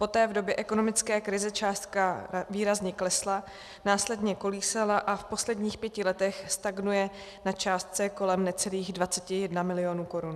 Poté, v době ekonomické krize, částka výrazně klesla, následně kolísala a v posledních pěti letech stagnuje na částce kolem necelých 21 mil. korun.